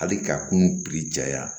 Hali ka kunun ja